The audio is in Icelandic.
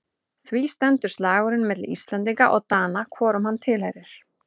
Því stendur slagurinn milli Íslendinga og Dana hvorum hann tilheyrir.